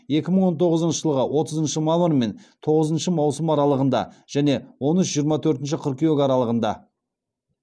екі мың он тоғызыншы жылғы отызыншы мамыр мен тоғызыншы маусым аралығында және он үш жиырма төртінші қыркүйек аралығында